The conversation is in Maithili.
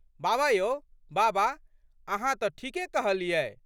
बाबा यौ बाबा अहाँ तऽ ठीके कहलियै।